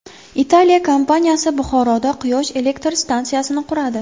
Italiya kompaniyasi Buxoroda quyosh elektr stansiyasini quradi.